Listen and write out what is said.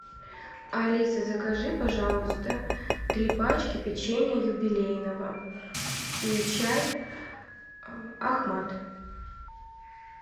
алиса закажи пожалуйста три пачки печенья юбилейного и чай ахмад